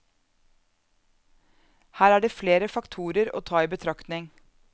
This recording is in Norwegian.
Her er det flere faktorer å ta i betraktning.